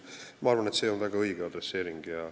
Ma arvan, et see on väga õige.